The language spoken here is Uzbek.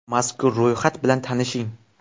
Mazkur ro‘yxat bilan tanishing: !